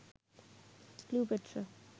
Cleopatra